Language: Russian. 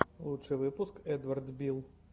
лучший выпуск эдвард билл